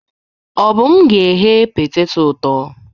Obum ga-eghe petetọ ụtọ.